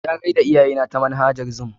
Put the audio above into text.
Ya gayar da iyayena ta manhajan zoom.